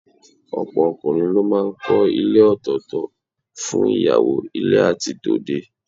Ọ̀pọ̀ ọkùnrin ló máa ń kọ́ ilé òtọ̀ọ̀tọ̀ fún ìyàwó ilé àti tòde